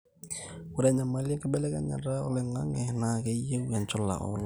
ore enyamali enkibelekenyata oloing'ang'e naa keyieu enchula ooloshon